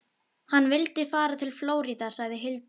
Hann vildi fara til Flórída, sagði Hildur.